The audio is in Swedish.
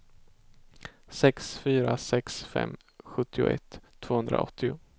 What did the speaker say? sex fyra sex fem sjuttioett tvåhundraåttio